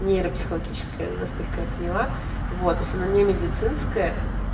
нейропсихологическая насколько я поняла вот то есть она не медицинская